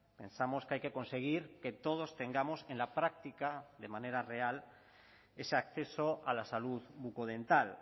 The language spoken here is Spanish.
pensamos que hay que conseguir que todos tengamos en la práctica de manera real ese acceso a la salud bucodental